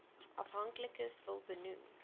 afhanklikes wil benoem